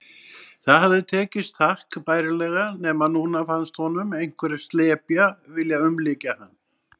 Það hafði tekist takk bærilega, nema núna fannst honum einhver slepja vilja umlykja hann.